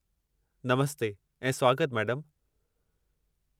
नमस्ते ऐं स्वागतु मैडमु।